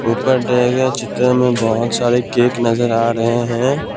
ऊपर दिए गए चित्र में बहोत सारे केक नजर आ रहे हैं।